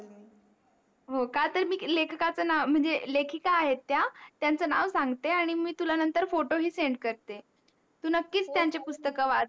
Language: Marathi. हो का तर मी लेखकच नाव म्हणजे लेखिका आहेत त्या त्यांच नाव सांगते आणि मी तुला नंतर फोटो ही SEND करते तू मककीच त्यांचे पुस्तक वाच